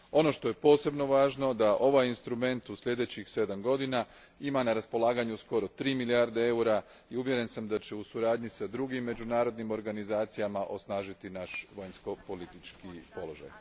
Ono što je posebno važno je da ovaj instrument u sljedećih sedam godina ima na raspolaganju skoro tri milijarde eura i uvjeren sam da će u suradnji s drugim međunarodnim organizacijama osnažiti naš vanjsko politički položaj.